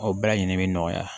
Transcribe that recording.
O bɛɛ lajɛlen bi nɔgɔya